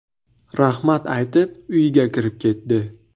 Rahmat aytib, uyiga kirib ketdi.